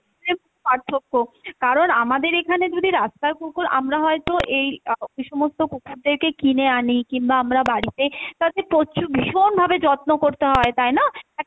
পার্থক্য কারণ আমাদের এখানে যদি রাস্তার কুকুর আমরা হয়তো এই সমস্ত কুকুদেরকে কিনে আনি কিংবা আমরা বাড়িতে তাকে প্রচুর ভীষণ ভাবে যত্ন করতে হয়, তাই না? একটা